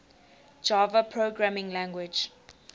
java programming language